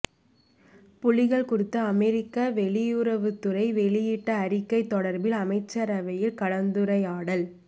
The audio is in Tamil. புலிகள் குறித்து அமெரிக்க வெளியுறவுத்துறை வெளியிட்ட அறிக்கை தொடர்பில் அமைச்சரவையில் கலந்துரையாடல்